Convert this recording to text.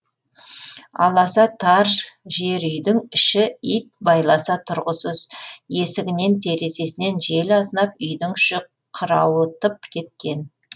аласа тар жер үйдің іші ит байласа тұрғысыз есігінен терезесінен жел азынап үйдің іші қырауытып кеткен